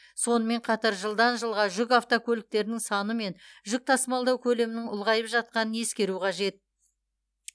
сонымен қатар жылдан жылға жүк автокөліктерінің саны мен жүк тасымалдау көлемінің ұлғайып жатқанын ескеру қажет